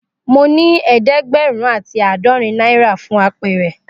Mo ni ẹẹdẹgbẹrun ati aadọrin naira fún àpẹrẹ.